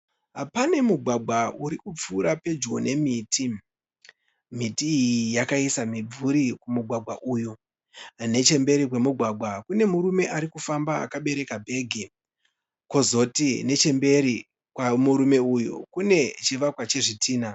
Pane mugwagwa uri kupfuura pedyo nemiti. Miti iyi yakaisa mimvuri kumugwagwa. Nechemberi kwemugwagwa kune murume arikufamba akabereka bhegi kozoti nechemberi kwemurume uyu kune chivakwa chezvitinha.